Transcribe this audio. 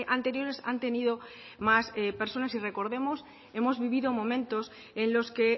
anteriores han tenido más personas y recordemos hemos vivido momentos en los que